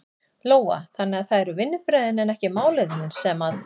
Lóa: Þannig að það eru vinnubrögðin en ekki málefnin sem að?